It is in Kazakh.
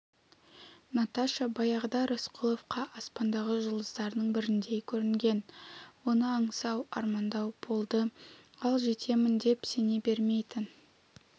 наташа баяғыда рысқұловқа аспандағы жұлдыздардың біріндей көрінген оны аңсау армандау болды ал жетемін деп сене бермейтін